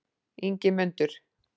Ingimundur